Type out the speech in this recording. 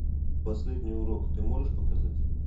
последний урок ты можешь показать